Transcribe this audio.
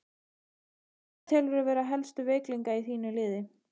Hverja telurðu vera helstu veikleika í þínu liði?